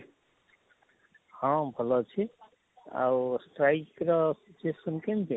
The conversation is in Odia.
ହଁ ଭଲ ଅଛି ଆଉ Strike ର situation କେମିତି?